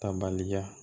Tabaliya